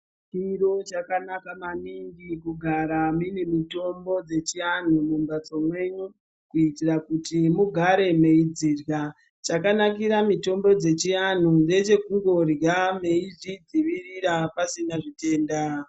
Chiro chakanaka maningi kugara une mitombo yechiantu mumbatso menyu kuitira kuti mugare meidzirya chakanakira mitombo yechiantu ngechekungorya neidziirira pasina zvitenda .